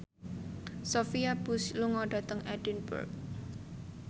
Sophia Bush lunga dhateng Edinburgh